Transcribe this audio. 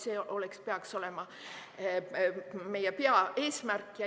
See peaks olema meie peaeesmärk.